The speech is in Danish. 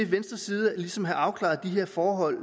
venstres side ligesom have afklaret de her forhold